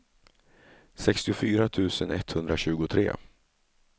sextiofyra tusen etthundratjugotre